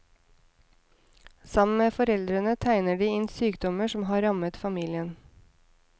Sammen med foreldrene tegner de inn sykdommer som har rammet familien.